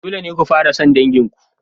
Dole ne ku fara son dangin ku.